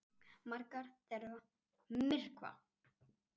Margar þeirra myrkva.